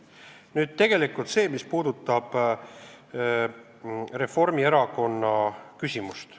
Nüüd see, mis puudutab Reformierakonna küsimust.